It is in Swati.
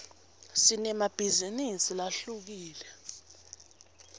sinemabhizinisi lahlukile